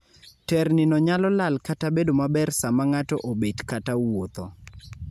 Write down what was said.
terni no nyalo lal kata bedo maber sama ng'ato obet kata wuotho